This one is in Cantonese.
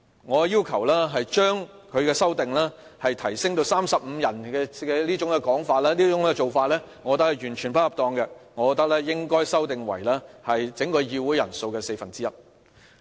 我認為廖議員修訂呈請人數提升至35人這種做法完全不恰當，我認為應修訂為整個議會人數的四分之一。